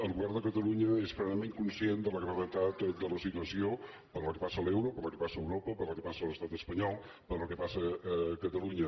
el govern de catalunya és plena ment conscient de la gravetat de la situació per la qual passa l’euro per la qual passa europa per la qual passa l’estat espanyol per la qual passa catalunya